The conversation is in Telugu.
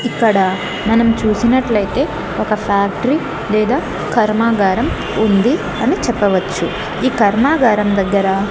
ఇక్కడ మనం చూసినట్లయితే ఒక ఫ్యాక్టరీ లేదా కర్మాగారం ఉంది అని చెప్పవచ్చు ఈ కర్మాగారం దగ్గర--